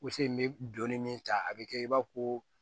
Woson in bɛ donni min ta a bɛ kɛ i b'a fɔ ko